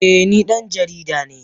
Eh ni dan jarida ne